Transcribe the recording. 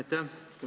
Aitäh!